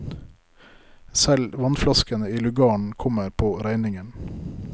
Selv vannflaskene i lugaren kommer på regningen.